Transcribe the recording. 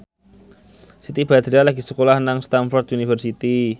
Siti Badriah lagi sekolah nang Stamford University